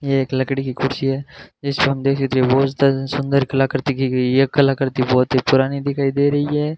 यह एक लकड़ी की कुर्सी है जिसको हम देख सकते सुंदर कलाकृति की गई यह कलाकृति बहुत ही पुरानी दिखाई दे रही है।